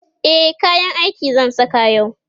e kayan aiki zan Saka yau